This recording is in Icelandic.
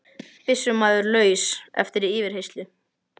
Byssumaður laus eftir yfirheyrslu